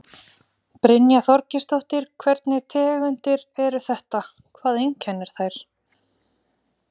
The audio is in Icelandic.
Brynja Þorgeirsdóttir: Hvernig tegundir eru þetta, hvað einkennir þær?